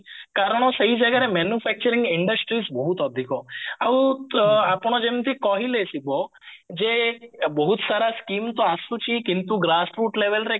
କାରଣ ସେଇ ଜାଗାରେ manufacturing industry ବହୁତ ଅଧିକ ଆଉ ତ ଆପଣ ଯେମତି କହିଲେ ଶିବ ଯେ ବହୁତ ସାରା scheme ତ ଆସୁଛି କିନ୍ତୁ labelରେ